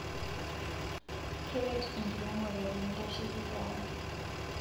Keret enkiremore pintashekii keon